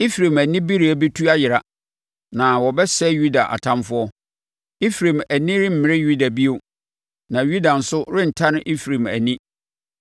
Efraim anibereɛ bɛtu ayera, na wɔbɛsɛe Yuda atamfoɔ. Efraim ani remmere Yuda bio, na Yuda nso rentane Efraim ani.